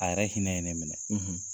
A yɛrɛ hinɛ ye ne minɛ.